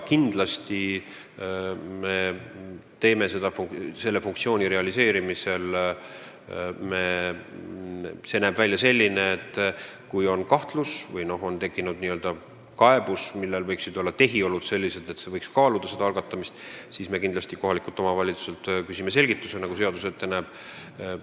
Kindlasti me tegutseme selle käigus nii, et kui on tekkinud kahtlus või on kaebus, millel võiksid olla sellised tehiolud, et võiks kaaluda asja algatamist, siis me küsime kindlasti kohalikult omavalitsuselt selgitust, nagu seadus ette näeb.